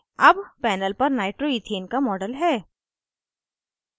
अब panel पर nitroethane का model है